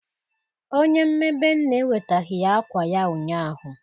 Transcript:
Onye mmebe Nne ewetaghi ya akwa ya ụnyahụ